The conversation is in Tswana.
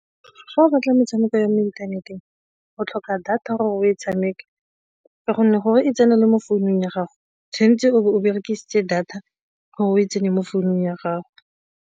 Fa o batla metshameko ya mo inthaneteng, o tlhoka data gore o e tshameka ka gonne gore e tsene le mo founung ya gago tshwanetse o be o berekisitse data gore o e tsenye mo founung ya gago.